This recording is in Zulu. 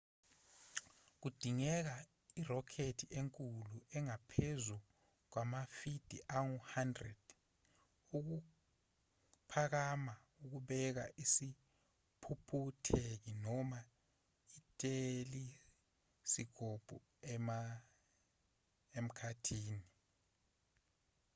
kudingeka irokhethi enkulu engaphezu kwamafidiangu-100 ukuphakama ukubeka isiphuphutheki noma ithelisikobho emkhathini